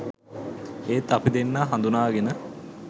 ඒත් අපි දෙන්නා හඳුනාගෙන